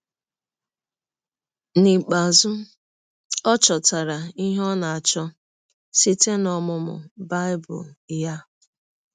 N’ikpeazụ, ọ chọtara ihe ọ nọ na - achọ site n’ọmụmụ Bible ya.